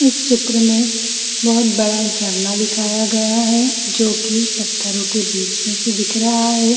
इस चित्र में बहुत बड़ा झरना दिखाया गया है जो कि पत्थरों के बीच में से दिख रहा है